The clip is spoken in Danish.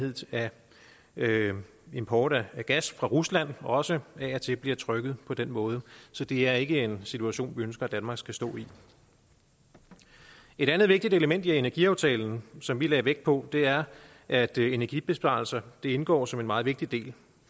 af import af gas fra rusland også af og til bliver trykket på den måde så det er ikke en situation vi ønsker danmark skal stå i et andet vigtigt element i energiaftalen som vi lagde vægt på er at energibesparelser indgår som en meget vigtig del